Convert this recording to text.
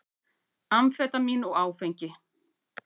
Amfetamín og áfengi.